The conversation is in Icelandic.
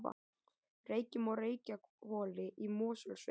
Reykjum og Reykjahvoli í Mosfellssveit.